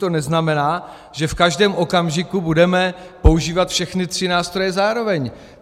To neznamená, že v každém okamžiku budeme používat všechny tři nástroje zároveň.